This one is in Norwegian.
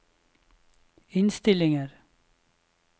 innstillinger